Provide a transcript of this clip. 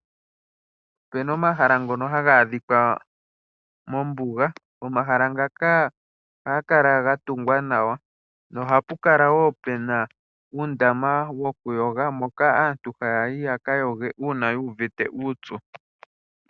Opena omahala ngono haga adhikwa mombuga. Omahala ngaka ohaga kala ga tungwa nawa nohapu kala woo pena uundama wokuyoga moka aantu haya yi yaka yoge uuna yuuvite uupyu.